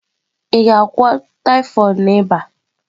Ị ga-agwọ typhoid na ịba?